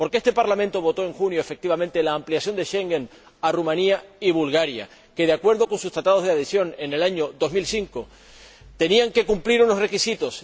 Porque este Parlamento aprobó en junio, efectivamente, la ampliación del espacio Schengen a Rumanía y Bulgaria que, de acuerdo con sus Tratados de Adhesión de 2005, tenían que cumplir unos requisitos.